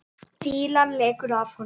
Fýlan lekur af honum.